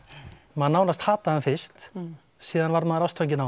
maður nánast hataði hann fyrst síðan varð maður ástfanginn af